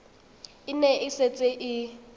e ne e setse e